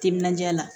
Timinandiya la